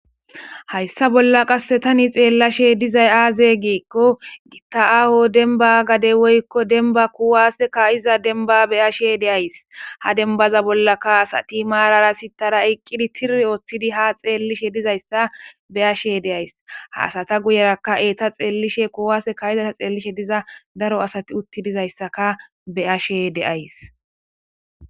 Hayssa bolla qasse tani xeellashe dizay aaze giikko gitta'aaho denba gadey woykko denba kuwaase ka iza denba beyashe deays ha denbaza bollakkaasa ti marara sitara eqqidi tiri ooththidi ha xeellishe dizayssa beyashe deays haasata guyeraka eta xeellishe kuwaase ka izata xeellishe diza daro asati utti dizayssaka beyashe deays.